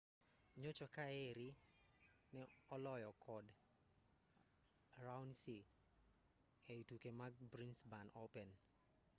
nyocha kaeri ne oloye kod raonic e tuke mag brisbane open